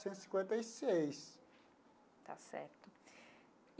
Centos cinquenta e seis. Está certo.